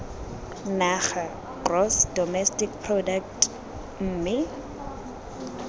naga gross domestic product mme